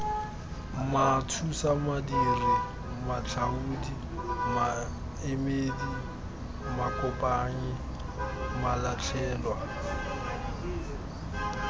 mathusamadiri matlhaodi maemedi makopanyi malatlhelwa